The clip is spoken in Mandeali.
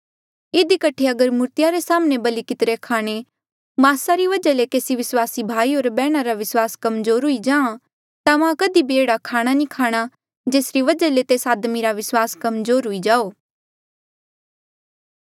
इधी कठे अगर मूर्तिया रे साम्हणें बलि कितिरे खाणे मास री वजहा ले केसी विस्वासी भाई होर बैहणा रा विस्वास कमजोर हुई जाहाँ ता मां कधी भी एह्ड़ा खाणा नी खाणा जेसरी वजहा ले तेस आदमी रा विस्वास कमजोर हुई जाओ